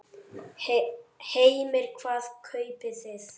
Heimir: Hvað kaupið þið?